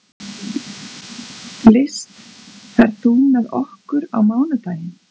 List, ferð þú með okkur á mánudaginn?